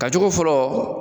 Ka cogo fɔlɔ